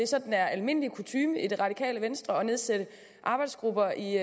sådan almindelig kutyme i det radikale venstre at nedsætte arbejdsgrupper i